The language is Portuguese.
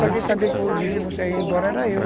Só quem sabia que no dia que você ia embora era eu.